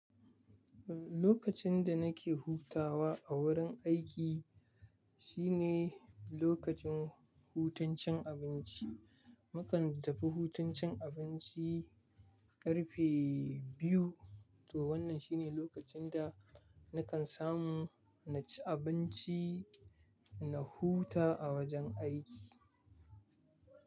Lokacin da nake hutawa a wurin aiki shine lokacin hutun cin abinci. Mu kan tafi hutun cin abinci karfe biyu, to wannan shine lokacin da nakan samu na ci abinci na huta a wajen aiki.